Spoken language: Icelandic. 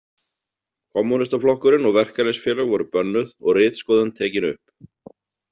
Kommúnistaflokkurinn og verkalýðsfélög voru bönnuð og ritskoðun tekin upp.